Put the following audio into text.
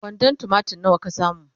kwandon tumatir nawa ka samu?